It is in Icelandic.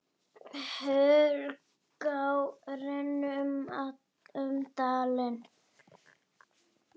Hörgá rennur um dalinn.